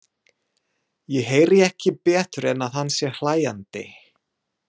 Ég heyri ekki betur en að hann sé hlæjandi.